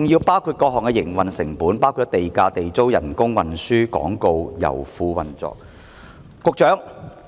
零售價亦包含各項營運成本，如地價、地租、工資、運輸、廣告、油庫運作等。